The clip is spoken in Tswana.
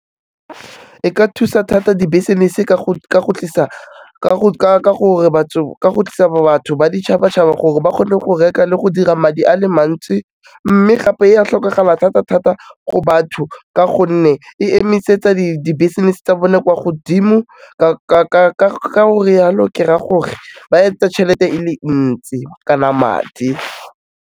E ka thusa thata di-business-e ka go tlisa batho ba ditšhaba-tšhaba gore ba kgone go reka le go dira madi a le mantsi, mme gape ya tlhokagala thata-thata go batho ka gonne e emisetsa di-business-e tsa bone kwa godimo, ka go rialo ke raya gore, ba etsa tšhelete e le ntsi, kana madi.